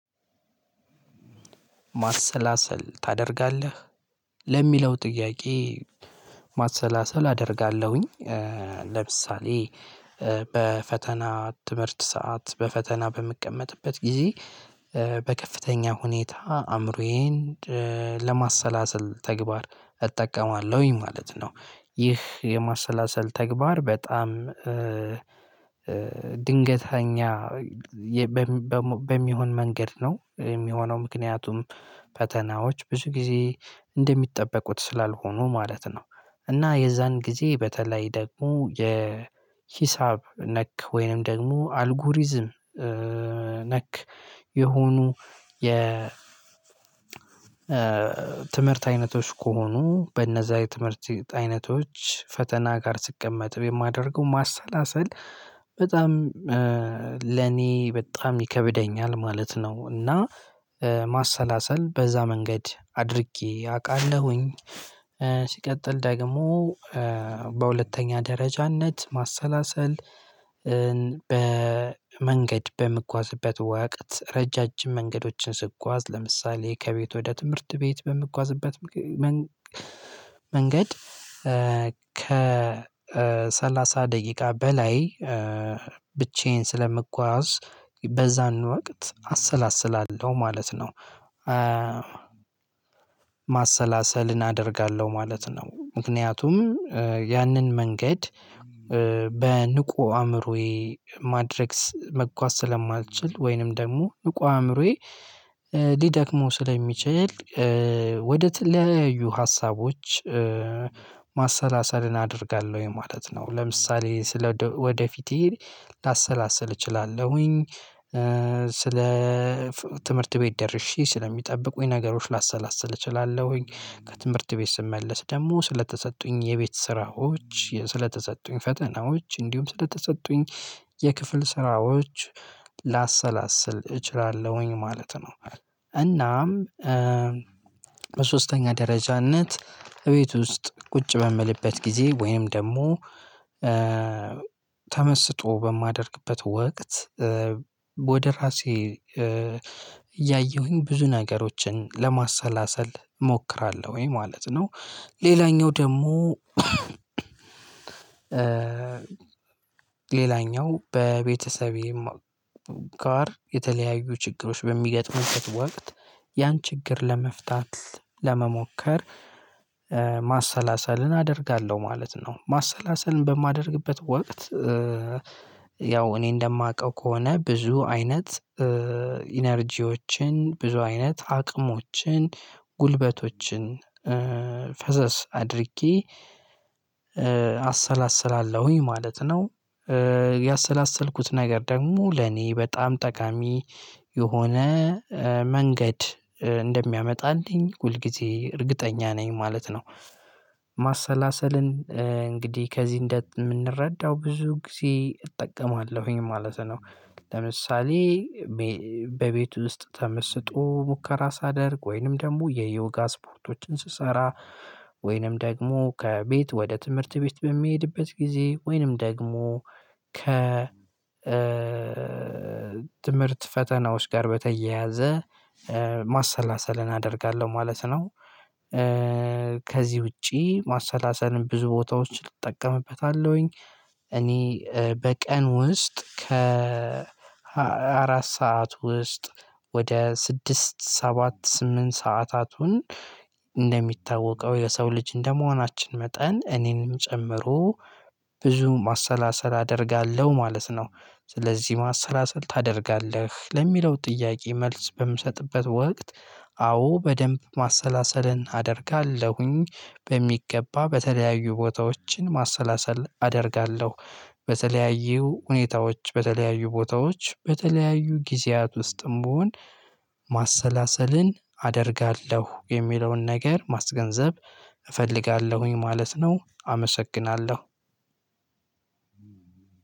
ማሰላሰል ታደርጋለህ? ለሚለው ጥያቄ ማሰላሰል አደርጋለሁኝ ለምሳሌ በፈተና ትምህርት ሰዓት በፈተና በምቀመጥበት ጊዜ በከፍተኛ ሁኔታ አእምሮዬን ለማሰላሰል ተግባር እጠቀማለሁኝ ማለት ነው። ይህ የማሰላሰል ተግባር በጣም ድንገተኛ በሚሆን መንገድ ነው የሚሆነው ምክንያቱም ፈተናዎች ብዙ ጊዜ እንደሚጠበቁት ስላልሆኑ ማለት ነው እና የዛን ጊዜ በተለይ ደግሞ የ ሂሳብ ነክ ወይንም ደግሞ አልጎሪዝም ነክ የሆኑ የ ትምህርት አይነቶች ከሆኑ በእነዛ የትምህርት አይነቶች ፈተና ጋር ስቀመጥ የማደርገው ማሰላሰል በጣም ለኔ በጣም ይከብደኛል ማለት ነው እና ማሰላሰል በዛ መንገድ አድርጌ አውቃለሁኝ ሲቀጥል ደግሞ በሁለተኛ ደረጃነት ማሰላሰል በመንገድ በምንጓዝበት ወቅት ረዣዥም መንገዶችን ስጓዝ ለምሳሌ ከቤት ወደ ትምህርት ቤት በምንጓዝበት መንገድ ከሰላሳ ደቂቃ በላይ ብቻዬን ስለምጓዝ በዛን ወቅት አሰላስላለሁ ማለት ነው ማሰላሰልን አደርጋለሁ ማለት ነው ምክንያቱም ያንን መንገድ በንቁ አእምሮዬ ማድረግ መጓዝ ስለማልችል ወይንም ደግሞ ብቁ አእምሮዬ ሊደክመው ስለሚችል ወደ ሊያዩ ሀሳቦች ማሰላሰልን አደርጋለሁ ማለት ነው ለምሳሌ ስለ ወደፊቴ ላሰላሰል እችላለሁኝ ስለ ትምህርት ቤት ደርሼ ስለሚጠብቁኝ ነገሮች ላሰላስል እችላለሁኝ ከትምህርት ቤት ስመለስ ደግሞ ስለተሰጡኝ የቤት ስራዎች ስለተሰጡኝ ፈተናዎች እንዲሁም ስለተሰጡኝ የክፍል ስራዎች ላሰላስል እችላለሁኝ ማለት ነው እናም በሶስተኛ ደረጃነት እቤት ውስጥ ቁጭ በምልበት ጊዜ ወይም ደግሞ ተመስጦ በማደርግበት ወቅት ወደ ራሴ እያየሁኝ ብዙ ነገሮችን ለማሰላሰል እሞክራለሁኝ። ማለት ነው ሌላኛው ደግሞ ሌላኛው በቤተሰቤ ጋር የተለያዩ ችግሮች በሚገጥሙበት ወቅት ያን ችግር ለመፍታት ለመሞከር ማሰላሰልን አደርጋለሁ ማለት ነው። ማሰላሰልን በማደርግበት ወቅት ያው እኔ እንደማውቀው ከሆነ ብዙ አይነት ኢነርጂዎችን ብዙ አይነት አቅሞችን ጉልበቶችን ፈሰስ አድርጌ አሰላስላለሁኝ ማለት ነው ያሰላሰልኩት ነገር ደግሞ ለኔ በጣም ጠቃሚ የሆነ መንገድ እንደሚያመጣልኝ ሁል ጊዜ እርግጠኛ ነኝ ማለት ነው። ማሰላሰልን እንግዲህ ከዚህ እንደምንረዳው ብዙ ጊዜ እጠቀማለሁኝ ማለት ነው። ለምሳሌ በቤቱ ውስጥ ተመስጦ ሙከራ ሳደርግ፣ ወይንም ደግሞ የዮጋ ስፖርቶችን ስሰራ፣ ወይንም ደግሞ ከቤት ወደ ትምህርት ቤት በምሄድበት ጊዜ ወይንም ደግሞ ከ ትምህርት ፈተናዎች ጋር በተያያዘ ማሰላሰልን አደርጋለሁ ማለት ነው ከዚህ ውጪ ማሰላሰልም ብዙ ቦታዎች እጠቀምበታለሁኝ እኔ በቀን ውስጥ ከ አራት ሰዓት ውስጥ ወደ ስድስት ሰባት ስምንት ሰዓታቱን እንደሚታወቀው የሰው ልጅ እንደመሆናችን መጠን እኔንም ጨምሮ ብዙ ማሰላሰል አደርጋለሁ ማለት ነው። ስለዚህ ማሰላሰል ታደርጋለህ ለሚለው ጥያቄ መልስ በምሰጥበት ወቅት አዎ በደንብ ማሰላሰልን አደርጋለሁኝ። በሚገባ በተለያዩ ቦታዎችን ማሰላሰል አደርጋለሁ። በተለያዩ ሁኔታዎች በተለያዩ ቦታዎች በተለያዩ ጊዜያት ውስጥም ብሆን ማሰላሰልን አደርጋለሁ የሚለውን ነገር ማስገንዘብ እፈልጋለሁኝ ማለት ነው አመሰግናለሁ።